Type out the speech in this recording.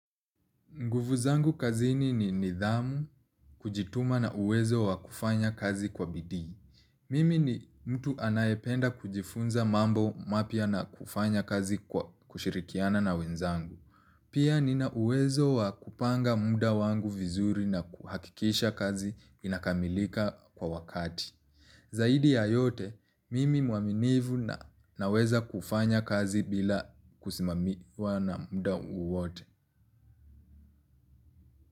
Nguvu zangu kazini ni nidhamu kujituma na uwezo wa kufanya kazi kwa bidii. Mimi ni mtu anayependa kujifunza mambo mapya na kufanya kazi kwa kushirikiana na wenzangu. Pia ni na uwezo wa kupanga muda wangu vizuri na kuhakikisha kazi inakamilika kwa wakati. Zaidi ya yote, mimi mwaminivu na naweza kufanya kazi bila kusimamiwa na muda uwote.